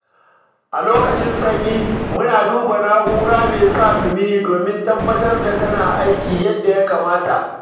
A lokacin sanyi, muna duba na'ora me sa dumi domin tabbatar da tana aiki yadda ya kamata.